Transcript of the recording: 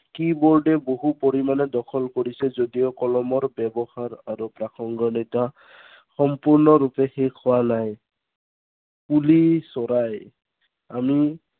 key-board এ বহু পৰিমানে দখল কৰিছে যদিও কলমৰ ব্য়ৱহাৰ আৰু প্ৰাসংগিকতা, সম্পূৰ্ণৰূপে শেষ হোৱা নাই। কুলি চৰাই আমি